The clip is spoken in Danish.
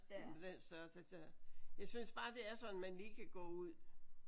På den størrelse der. Jeg synes bare det er sådan man lige kan gå ud